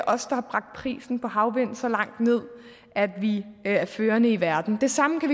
os der har bragt prisen på havvind så langt ned at vi er førende i verden det samme kan